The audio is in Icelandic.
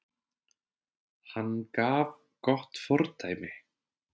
Hann gaf gott fordæmi